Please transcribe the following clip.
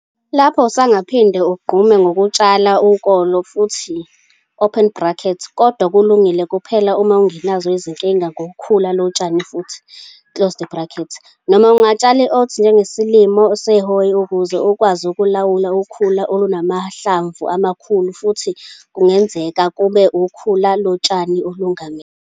Lapho usungaphinda unqume ngokutshala ukolo futhi, kodwa kulungile kuphela uma ungenazo izinkinga ngokhula lotshani futhi, noma ungatshala i-oats njengesilimo sehhoyi ukuze ukwazi ukulawula ukhulu olunamahlamvu amakhulu futhi kungenzeka kube ukhula lotshani olungamila.